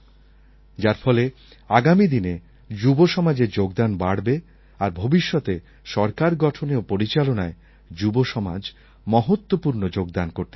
যার ফলে আগামী দিনে যুবসমাজের যোগদান বাড়বে আর ভবিষ্যতে সরকার গঠনে ও পরিচালনায় যুবসমাজ মহত্বপূর্ণ যোগদান করতে পারে